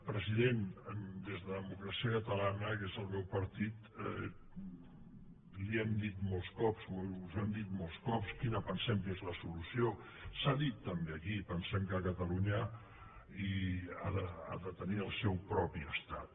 president des de democràcia catalana que és el meu partit li hem dit molts cops us ho hem dit molts cops quina pensem que és la solució s’ha dit també aquí pensem que catalunya ha de tenir el seu propi estat